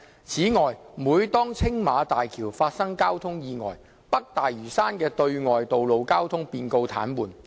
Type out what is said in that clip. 此外，每當青馬大橋發生交通意外，北大嶼山的對外道路交通便告癱瘓。